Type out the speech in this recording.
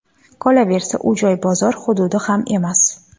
Qolaversa, u joy bozor hududi ham emas”.